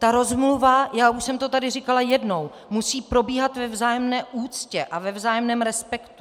Ta rozmluva - já už jsem to tady říkala jednou - musí probíhat ve vzájemné úctě a ve vzájemném respektu.